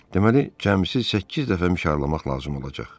Deməli cəmi səkkiz dəfə mişarlamaq lazım olacaq.